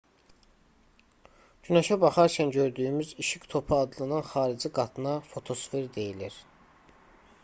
günəşə baxarkən gördüyümüz işıq topu adlanan xarici qatına fotosfer deyilir